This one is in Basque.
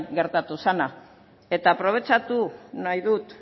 gertatu zena eta aprobetxatu nahi dut